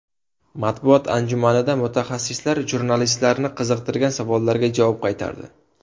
Matbuot anjumanida mutaxassislar jurnalistlarni qiziqtirgan savollarga javob qaytardi.